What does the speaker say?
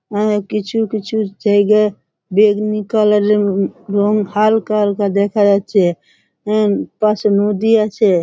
কিছু কিছু জায়গা বেগনি কালারের রং হালকা হালকা দেখা যাচ্ছে। পশে নদী আছে।